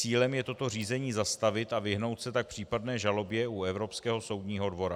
Cílem je toto řízení zastavit a vyhnout se tak případné žalobě u Evropského soudního dvora.